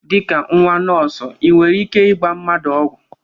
Dịka nwa akwụkwọ nọọsụ ị nwere ike ịgba mmadụ ọgwụ?